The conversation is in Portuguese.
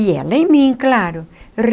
E ela em mim, claro.